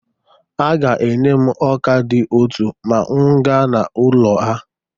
Ha ga-enye m ọ́kà dị ụtọ ma m gaa n'ụlọ ha.